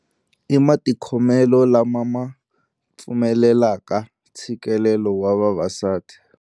I matikhomelo lama ma pfumelelaka ntshikelelo wa vavasati.